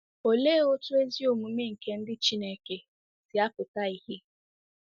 Olee otú ezi omume nke ndị Chineke si apụta ìhè?